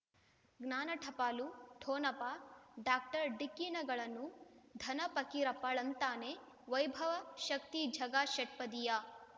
ಜ್ಞಾನ ಟಪಾಲು ಠೊಣಪ ಡಾಕ್ಟರ್ ಢಿಕ್ಕಿ ಣಗಳನು ಧನ ಫಕೀರಪ್ಪ ಳಂತಾನೆ ವೈಭವ್ ಶಕ್ತಿ ಝಗಾ ಷಟ್ಪದಿಯ